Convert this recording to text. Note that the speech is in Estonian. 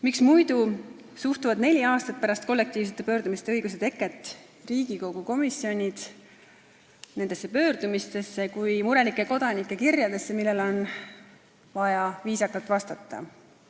Miks muidu suhtuvad neli aastat pärast kollektiivse pöördumise õiguse teket Riigikogu komisjonid nendesse pöördumistesse kui murelike kodanike kirjadesse, millele on vaja vaid viisakalt vastata?